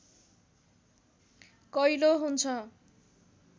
कैलो हुन्छ